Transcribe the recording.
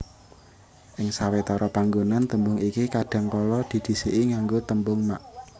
Ing sawetara panggonan tembung iki kadhangkala didhisiki nganggo tembung mak